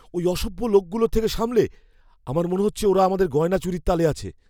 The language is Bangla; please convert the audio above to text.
ওই অসভ্য লোকগুলোর থেকে সামলে! আমার মনে হচ্ছে ওরা আমাদের গয়না চুরির তালে আছে।